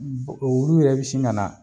Olu yɛrɛ bi sin ka na